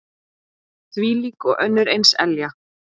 Þvílík og önnur eins elja.